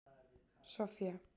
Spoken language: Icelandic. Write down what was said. Soffía